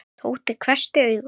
Tóti hvessti augum.